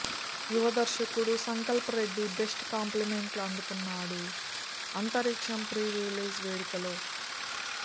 యువదర్శకుడు Sankalp Reddy best కాంప్లిమెంట్ని అందుకున్నాడు Antariksham pre release వేడుకలో